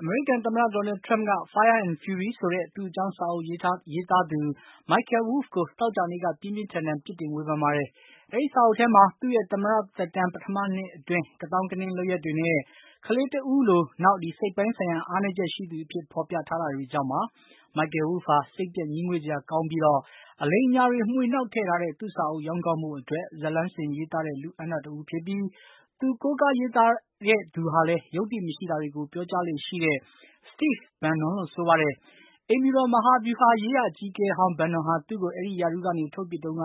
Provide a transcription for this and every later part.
အမေရိကန်သမ္မတ Donald Trump က Fire and Fury ဆိုတဲ့ သူ့အကြောင်း စာအုပ်ရေးထားသူ Michael Wolff ကို သောကြာနေ့က ပြင်းပြင်းထန်ထန် တုန့်ပြန်သွားပါတယ်။ အဲဒီစာအုပ်ထဲမှာ သူ့ရဲ့ သမ္မတသက်တမ်း ပထမနှစ်အတွင်း ကသောင်းကနင်းလုပ်ရပ်တွေနဲ့ ကလေးတဦးလို နောက် စိတ်ပိုင်းဆိုင်ရာအားနည်းချက်ရှိသူအဖြစ် ဖေါ်ပြထားတာတွေကြောင့်ပါ။ Michael Wolff ဟာ စိတ်ပျက်ငြီးငွေ့စရာကောင်းပြီး အလိမ်အညာတွေ မွှေနှောက်ထည့်ထားတဲ့ သူ့စာအုပ် ရောင်းကောင်းဖို့အတွက် ဇာတ်လမ်းဆင်ရေးသားတဲ့ လူ့အန္တ တဦးဖြစ်ပြီး သူကိုးကားရေးတဲ့သူဟာလည်း ယုတ္တိမရှိတာတွေကို ပြောကြားလေ့ရှိတဲ့ Steve Bannon လို့ဆိုပါတယ်။ အိမ်ဖြူတော် မဟာဗျူဟာရေးရာ အကြီးအကဲဟောင်း Bannon ဟာ သူ့ကို အဲဒီရာထူးကနေ ထုတ်ပစ်တုန်းက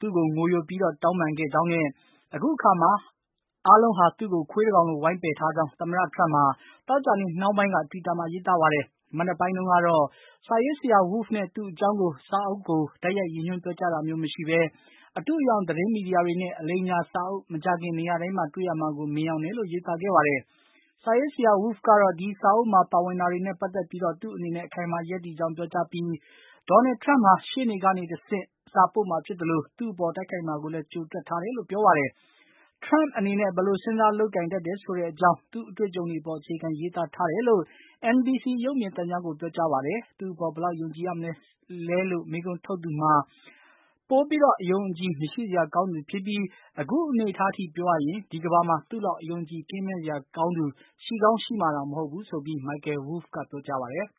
သူ့ကို ငိုယိုပြီး တောင်းပန်ခဲ့ကြောင်းနဲ့ အခုအချိန်မှာ အားလုံးဟာ သူ့ကို ခွေးတကောင်လို ဝိုင်းပယ်ထားကြောင်း သမ္မတ Trump ဟာ သောကြာနေ့နှောင်းပိုင်းက တွီတာမှာ ရေးသားပါတယ်။ မနက်ပိုင်းတုန်းကတော့ စာရေးဆရာ Wolf နဲ့ သူ့အကြောင်း စာအုပ်ကို တိုက်ရိုက် ရည်ညွှန်းပြောကြားတာမျိုးမရှိဘဲ အတုအယောင် သတင်းမီဒီယာတွေနဲ့ အလိမ်အညာစာအုပ် မကြာခင်နေရာတိုင်းမှာ တွေ့ရမှာကို မြင်ယောင်တယ်လို့ ရေးသားခဲ့ပါတယ်။ စာရေးဆရာ Wolff ကတော့ ဒီစာအုပ်မှာ ပါဝင်တာတွေနဲ့ ပတ်သတ်ပြီး သူ့အနေနဲ့ အခိုင်အမာ ရပ်တည်ကြောင်း ပြောကြားပြီး Donald Trump ဟာ ရှေ့နေကနေဆင့် စာပို့မှာဖြစ်သလို သူ့အပေါ် တိုက်ခိုက်မှာကိုလည်း ကြိုတွက်ထားတယ်လို့ ပြောပါတယ်။ Trump အနေနဲ့ ဘယ်လို စဉ်းစားလုပ်ကိုင်တတ်တယ်ဆိုတဲ့အကြောင်း သူ့အတွေ့အကြုံတွေအပေါ် အခြေခံရေးသားထားတယ်လို့ NBC ရုပ်မြင်သံကြားကို ပြောကြားပါတယ်။ သူ့အပေါ် ဘယ်လောက်ယုံကြည်ရမလဲလို့ မေးခွန်းထုတ်သူမှာ ပိုပြီး အယုံအကြည်မရှိစရာ ကောင်းသူဖြစ်ပြီး အခုအနေအထားထိပြောရရင် ဒီကမ္ဘာမှာ သူ့လောက် အယုံအကြည်ကင်းမဲ့စရာ ကောင်းသူ ရှိကောင်း ရှိမှာတောင်မဟုတ်ဘူးဆိုပြီး Michael Wolff က ပြောကြားပါတယ်။